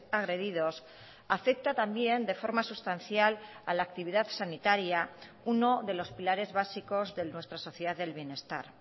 agredidos afecta también de forma sustancial a la actividad sanitaria uno de los pilares básicos de nuestra sociedad del bienestar